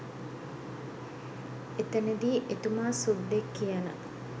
එතනදි එතුමා සුද්දෙක් කියන